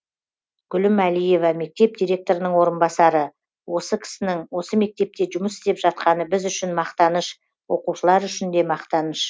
гүлім әлиева мектеп директорының орынбасары осы кісінің осы мектепте жұмыс істеп жатқаны біз үшін мақтаныш оқушылар үшін де мақтаныш